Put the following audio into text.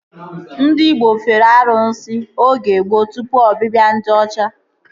Ndị igbo fere arụsị oge gboo tụpụ ọbịbịa ndị ọcha